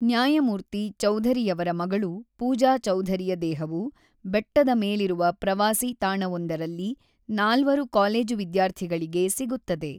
ನ್ಯಾಯಮೂರ್ತಿ ಚೌಧರಿಯವರ ಮಗಳು ಪೂಜಾ ಚೌಧರಿಯ ದೇಹವು, ಬೆಟ್ಟದ ಮೇಲಿರುವ ಪ್ರವಾಸಿ ತಾಣವೊಂದರಲ್ಲಿ ನಾಲ್ವರು ಕಾಲೇಜು ವಿದ್ಯಾರ್ಥಿಗಳಿಗೆ ಸಿಗುತ್ತದೆ.